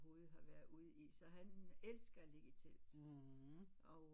Gud har været i så han elsker at ligge i telt og